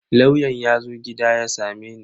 Lauyan yazo gida ya sameni.